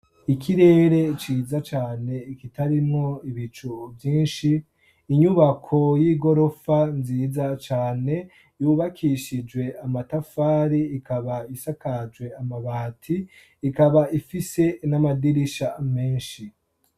Ikirere ciza cane kitarimwo ibicu vyinshi, inyubako y'igorofa nziza cane yubakishijwe amatafari ikaba isakajwe amabati, ikaba ifise n'amadirisha menshi.